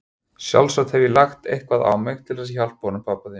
Sjálfsagt hef ég lagt eitthvað á mig til þess að hjálpa honum pabba þínum.